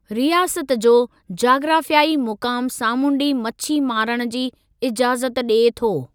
रियासत जो जाग्राफ़ियाई मुक़ामु सामूंडी मछी मारणु जी इजाज़त ॾिए थो।